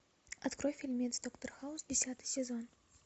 открой фильмец доктор хаус десятый сезон